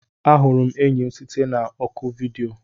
Ahụrụ m enyi m site na oku vidiyo.